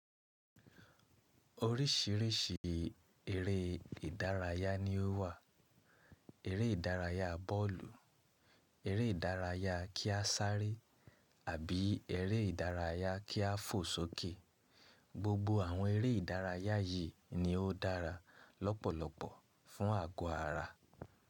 Oríṣìíríṣìí eré ìdárayá ni ó wà. Eré ìdárayá bọ́ọ̀lù, eré ìdárayá kí a sárẹ́ àbí eré ìdárayá kí a fò sókè. Gbogbo àwọn eré ìdárayá yìí ni ó dára lọ́pọ̀lọpọ̀ fún àgọ́ ara.